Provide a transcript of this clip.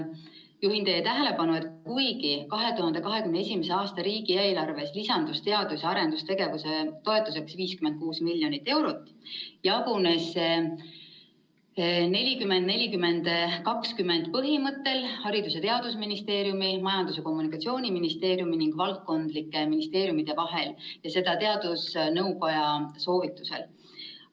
Juhin teie tähelepanu, et kuigi 2021. aasta riigieelarves lisandus teadus‑ ja arendustegevuse toetuseks 56 miljonit eurot, jagunes see 40 : 40 : 20 põhimõttel Haridus‑ ja Teadusministeeriumi, Majandus‑ ja Kommunikatsiooniministeeriumi ning valdkondlike ministeeriumide vahel ja seda teadusnõukogu soovitusel.